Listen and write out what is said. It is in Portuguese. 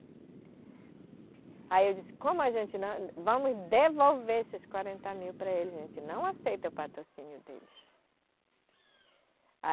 Aí eu disse, como a gente não... Vamos devolver esses quarenta mil para eles, a gente não aceita o patrocínio deles.